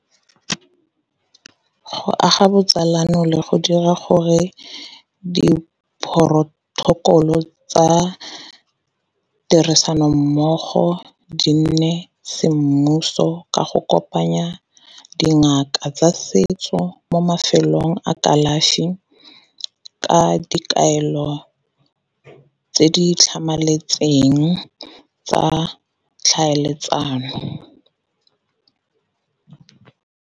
Go aga botsalano le go dira gore diporotokolo tsa tirisanommogo di nne semmuso ka go kopanya dingaka tsa setso mo mafelong a kalafi, ka dikaelo tse di tlhamaletseng tsa tlhaeletsano.